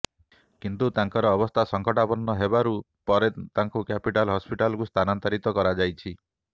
କିନ୍ତୁ ତାଙ୍କର ଅବସ୍ଥା ସଂକଟାପନ୍ନ ହୋବାରୁ ପରେ ତାଙ୍କୁ କ୍ୟାପିଟାଲ ହସ୍ପିଟାଲକୁ ସ୍ଥାନାନ୍ତରିତ କରାଯାଇଛି